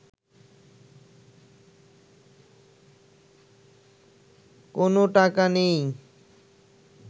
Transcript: কোনো টাকা নেই